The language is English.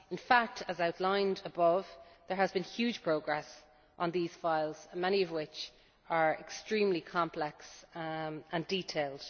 files. In fact, as outlined above, there has been huge progress on these files, many of which are extremely complex and detailed.